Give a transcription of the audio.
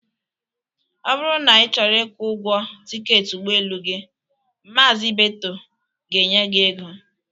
Ọ bụrụ na ị chọrọ ịkwụ ụgwọ tịketị ụgbọelu gi, Mazi Ibeto ga-enye gị ego